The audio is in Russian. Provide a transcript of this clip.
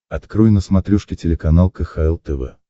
открой на смотрешке телеканал кхл тв